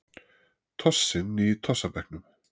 Tossinn í tossabekknum.